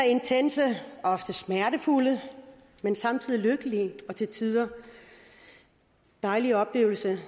intense og ofte smertefulde men samtidig lykkelige og til tider dejlige oplevelse